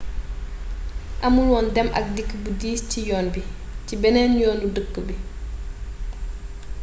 amulwoon dem ak dikk bu diis ci yoon bi ci benneen yoonu dëkk bi